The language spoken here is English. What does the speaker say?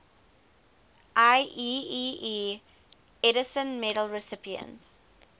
ieee edison medal recipients